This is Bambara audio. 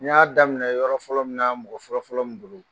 N y'a daminɛ yɔrɔ fɔlɔ min na mɔgɔ fɔlɔfɔlɔ min bolo